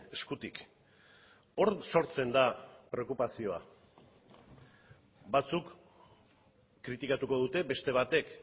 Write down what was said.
eskutik hor sortzen da preokupazioa batzuk kritikatuko dute beste batek